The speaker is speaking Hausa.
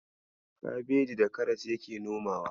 Kabeji da karas yake nomawa.